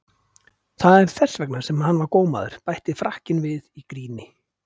Það er þess vegna sem hann var gómaður, bætti Frakkinn við í gríni.